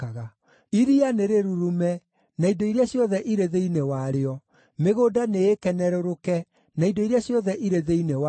Iria nĩ rĩrurume, na indo iria ciothe irĩ thĩinĩ warĩo; mĩgũnda nĩĩkenerũrũke na indo iria ciothe irĩ thĩinĩ wayo!